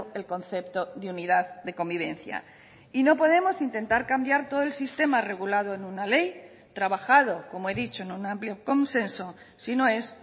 el concepto de unidad de convivencia y no podemos intentar cambiar todo el sistema regulado en una ley trabajado como he dicho en un amplio consenso si no es